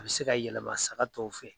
A bɛ se ka yɛlɛma saga tɔw fɛ.